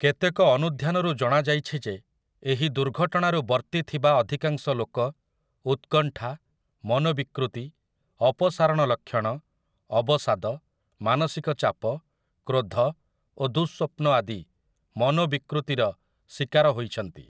କେତେକ ଅନୁଧ୍ୟାନରୁ ଜଣାଯାଇଛି ଯେ ଏହି ଦୁର୍ଘଟଣାରୁ ବର୍ତ୍ତିଥିବା ଅଧିକାଂଶ ଲୋକ ଉତ୍କଣ୍ଠା, ମନୋବିକୃତି, ଅପସାରଣ ଲକ୍ଷଣ, ଅବସାଦ, ମାନସିକ ଚାପ, କ୍ରୋଧ ଓ ଦୁଃସ୍ୱପ୍ନ ଆଦି ମନୋବିକୃତିର ଶୀକାର ହୋଇଛନ୍ତି ।